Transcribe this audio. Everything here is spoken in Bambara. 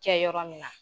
Kɛ yɔrɔ min na